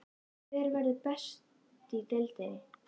Hver verður best í deildinni?